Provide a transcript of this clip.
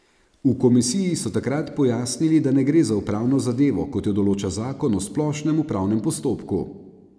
V komisiji so takrat pojasnili, da ne gre za upravno zadevo, kot jo določa zakon o splošnem upravnem postopku.